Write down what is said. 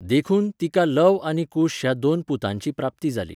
देखून, तिका लव आनी कुश ह्या दोन पुतांची प्राप्ती जाली.